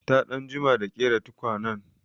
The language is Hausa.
Ta ɗan jima da ƙera tukwanen.